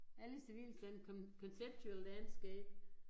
Alle civilstande conceptual landscape